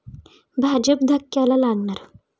भाजप धक्क्याला लागणार!